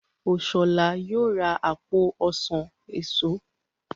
Oshola yóò rà apo ọsán èso.